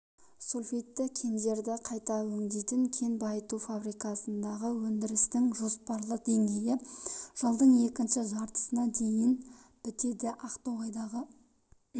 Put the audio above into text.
сульфидті кендерді қайта өңдейтін кен байыту фабрикасындағы өндірістің жоспарлы деңгейі жылдың екінші жартысына дейін бітеді ақтоғайдағы